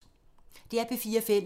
DR P4 Fælles